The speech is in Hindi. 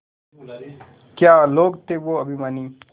क्या लोग थे वो अभिमानी